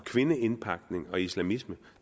kvindeindpakning og islamisme